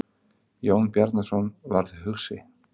Jón Bjarnason varð hugsi.